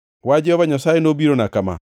Wach Jehova Nyasaye nobirona kama: